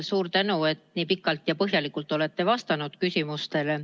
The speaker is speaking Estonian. Suur tänu, et nii pikalt ja põhjalikult olete vastanud küsimustele.